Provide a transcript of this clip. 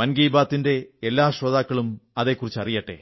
മൻ കീ ബാത്തി ന്റെ എല്ലാ ശ്രോതാക്കളും അതെക്കുറിച്ച് അറിയട്ടെ